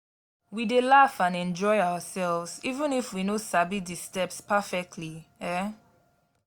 we dey laugh and enjoy ourselves even if we no sabi di steps perfectly. um